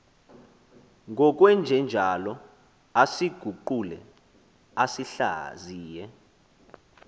ngokwenjenjalo asiguqule asihlaziye